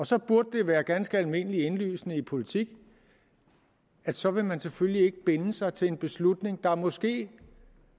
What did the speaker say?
så burde det være ganske almindeligt indlysende i politik at så vil man selvfølgelig ikke binde sig til en beslutning der måske